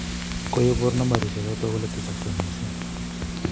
Koibor Nambarishek chotok kole tesaksei missing.